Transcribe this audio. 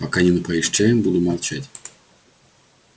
пока не напоишь чаем буду молчать